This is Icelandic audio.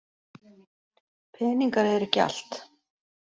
Peningar eru ekki allt.